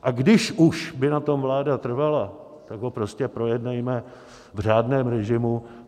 A když už by na tom vláda trvala, tak ho prostě projednejme v řádném režimu.